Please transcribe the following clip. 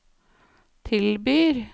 tilbyr